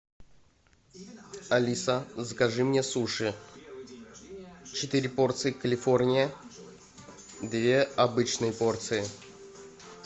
алиса закажи мне суши четыре порции калифорния две обычные порции